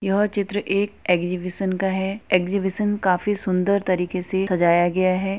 यह चित्र एक एक्सहिबिशन का है। एक्सहिबिशन काफी सुंदर तरीके से सजाया गया है।